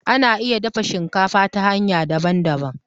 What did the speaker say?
Ana iya dafa shinkafa ta hanya daban daban